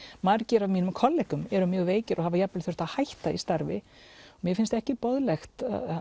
margir af mínum kollegum eru mjög veikir og hafa jafn vel þurft að hætta í starfi og mér finnst ekki boðlegt